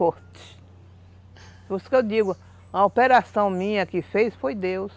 Por isso que eu digo, a operação minha quem fez foi Deus.